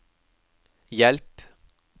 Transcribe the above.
hjelp